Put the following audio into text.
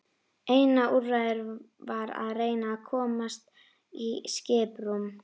Eina úrræðið var að reyna að komast í skiprúm.